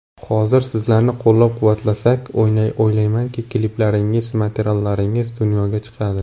Hozir sizlarni qo‘llab-quvvatlasak, o‘ylaymanki, kliplaringiz, materiallaringiz dunyoga chiqadi.